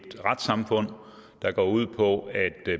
retssamfund der går ud på at